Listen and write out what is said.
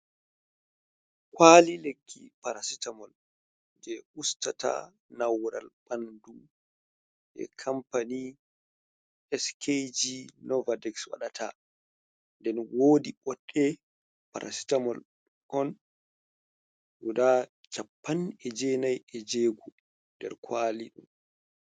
Kwali lekki parasita mol je ustata naural ɓandu je kampani skg novatiks waɗata, den wodi boɗe parasitamol kon guda cappan e jenai ejeguo nder kwali.